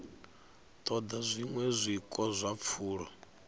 ṱoḓa zwiṅwe zwiko zwa pfulo